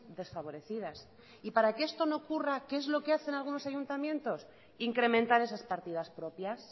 desfavorecidas y para que esto no ocurra qué es lo que hace algunos ayuntamientos incrementar esas partidas propias